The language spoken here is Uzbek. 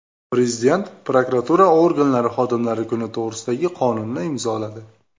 Prezident prokuratura organlari xodimlari kuni to‘g‘risidagi qonunni imzoladi.